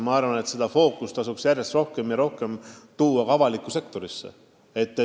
Arvan ka, et see fookus peaks järjest rohkem tavaliseks saama ka avalikus sektoris.